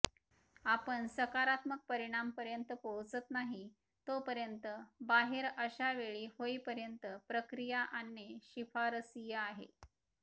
आपण सकारात्मक परिणाम पर्यंत पोहोचत नाही तोपर्यंत बाहेर अशा वेळी होईपर्यंत प्रक्रिया आणणे शिफारसीय आहे